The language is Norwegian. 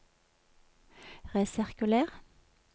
resirkuler